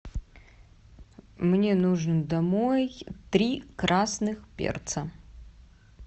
мне нужен домой три красных перца